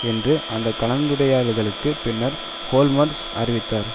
என்று அந்த கலைந்துரையாடல்களுக்கு பின்னர் ஓல்மர்ட் அறிவித்தார்